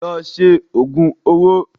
Lọ ṣe òògùn owó!